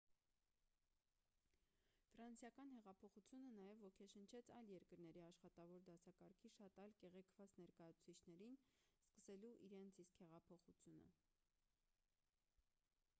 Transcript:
ֆրանսիական հեղափոխությունը նաև ոգեշնչեց այլ երկրների աշխատավոր դասակարգի շատ այլ կեղեքված ներկայացուցիչներին սկսելու իրենց իսկ հեղափոխությունը